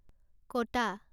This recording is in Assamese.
কটা